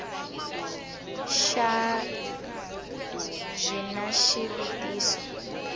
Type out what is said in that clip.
xa b xi na xivutiso